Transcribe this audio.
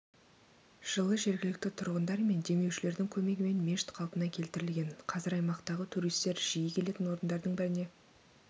жылы жергілікті тұрғындар мен демеушілердің көмегімен мешіт қалпына келтірілген қазір аймақтағы туристер жиі келетін орындардың біріне